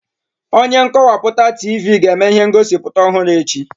Onye nkọwapụta Tivii ga-eme ihe ngosi ọhụrụ echi.